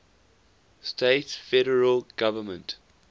states federal government